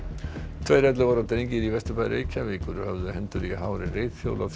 tveir ellefu ára drengir í Vesturbæ Reykjavíkur höfðu hendur í hári